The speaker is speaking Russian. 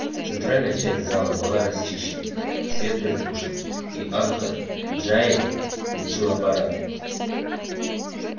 центральная часть зала была расчищена свет притушен и анхор джаэль включил аппарат